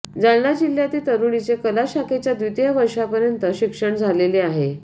जालना जिल्ह्यातील तरुणीचे कला शाखेच्या द्वितीय वर्षापर्यंत शिक्षण झालेले आहे